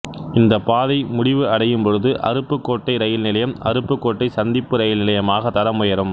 இந்த பாதை முடிவு அடையும் பொழுது அருப்புக்கோட்டை ரயில் நிலையம் அருப்புக்கோட்டை சந்திப்பு ரயில் நிலையமாக தரம் உயரும்